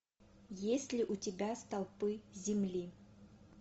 есть ли у тебя столпы земли